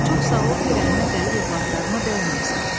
Çox sağ ol ki, rəhmə gəlib övladlarıma dəyməmisən.